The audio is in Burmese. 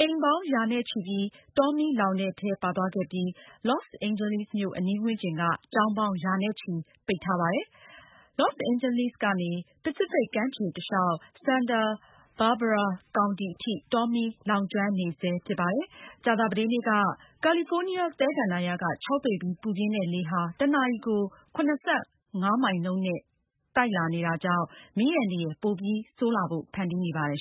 အိမ်ပေါင်းရာနဲ့ချီပြီး တောမီးလောင်တဲ့ထဲ ပါသွားခဲ့ပြီး လော့စ်အိန်ဂျလိမြို့အနီးဝန်းကျင်က ကျောင်းပေါင်းရာနဲ့ချီ ပိတ်ထားရပါတယ်။ လော့စ်အိန်ဂျယ်လိကနေ ပစိဖိတ်ကမ်းခြေတလျောက် Santa Barbara ကောင်တီအထိ တောမီးလောင်ကျွမ်းနေတာဖြစ်ပါတယ်။ ကယ်လီဖိုးနီးယားသဲကန္တာရ က ခြောက်သွေ့ပြီး ပူပြင်းတဲ့လေဟာ ကြာသာပတေးနေ့က တနာရီကို ၇၅ မိုင်နှုန်းနဲ့ တိုက်နေတာကြောင့် မီးအန္တရာယ်ပိုပြီးဆိုးလာဖို့ ဖန်တီးနေပါတယ်